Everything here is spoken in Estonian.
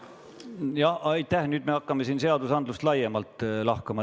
No nüüd me hakkame siin seadusandlust laiemalt lahkama.